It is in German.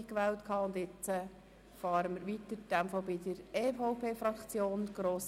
Jetzt fahren wir mit der EVP-Fraktion weiter.